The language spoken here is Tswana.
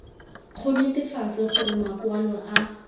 go netefatsa gore makwalo a